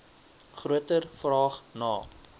groter vraag na